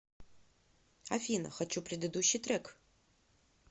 афина хочу предыдущий трек